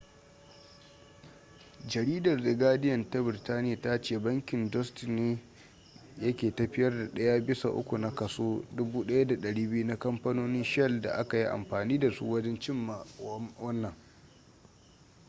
jaridar the guardian ta birtaniya ta ce bankin deutsche ne yake tafiyar da daya bisa uku na kaso 1200 na kamfanonin shell da aka yi amfani da su wajen cimma wannan